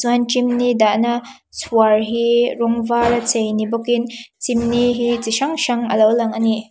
chuan chimney dahna chhuar hi rawng var a chei ni bawkin chimney hi chi hrang hrang alo lang a ni.